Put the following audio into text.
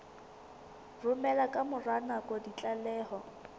romela ka mora nako ditlaleho